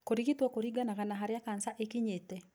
Kũrigito kũringanaga na harĩa cancer ĩkinyite.